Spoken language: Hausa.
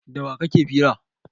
Da wa kake fira?